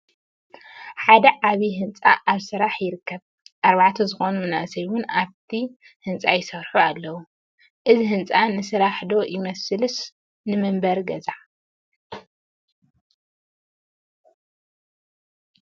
ሓደ ዓብይ ህንፃ ኣብ ምስራሕ ይርከበ ኣርባዕተ ዝኾኑ መናእሰይ ውን ኣብቲ ህንፃ ይሰርሑ ኣለው፡፡ እዚ ህንፃ ንስራሕ ዶ ይመስልስ ንመንበሪ ገዛ?